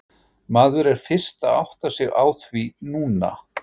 Maður er fyrst að átta sig á því núna.